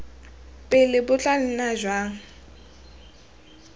pele bo tla nna jwa